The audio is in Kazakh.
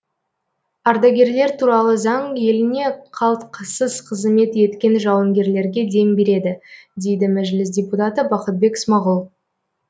ардагерлер туралы заң еліне қалтқысыз қызмет еткен жауынгерлерге дем береді дейді мәжіліс депутаты бақытбек смағұл